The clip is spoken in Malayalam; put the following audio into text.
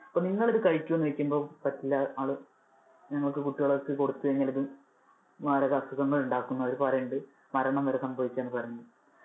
അപ്പൊ നിങ്ങൾ ഇത് കഴിക്കുമോ എന്ന് ചോദിക്കുമ്പോൾ, പറ്റില്ല ആള് ഞങ്ങൾ കുട്ടികൾക്ക് കൊടുത്തു കഴിഞ്ഞാൽ ഇത് മാരക അസുഖങ്ങൾ ഉണ്ടാക്കും എന്ന് അവര് പറയുന്നുണ്ട്, മരണം വരെ സംഭവിക്കാം എന്ന് വരെ അവര് പറയുന്നുണ്ട്.